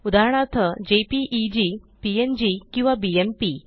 उदाहरणार्थ JPEG PNG किंवा BMP